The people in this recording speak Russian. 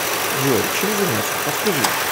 джой чем заняться подскажи